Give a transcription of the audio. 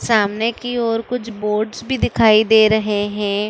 सामने की और कुछ बोर्ड्स भी दिखाई दे रहे हैं।